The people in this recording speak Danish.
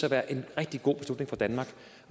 at være en rigtig god beslutning for danmark